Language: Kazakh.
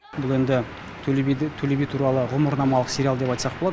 бұл енді төле би туралы ғұмырнамалық сериал деп айтсақ болады